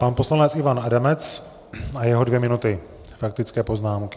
Pan poslanec Ivan Adamec a jeho dvě minuty faktické poznámky.